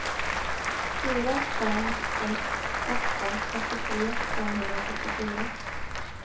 fyra fem ett åtta åttiotre femhundrafyrtiofyra